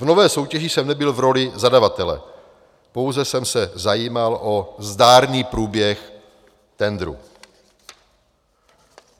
V nové soutěží jsem nebyl v roli zadavatele, pouze jsem se zajímal o zdárný průběh tendru.